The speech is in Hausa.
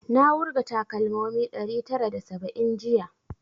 Na wurga takalmomi ɗari tara da saba'in jiya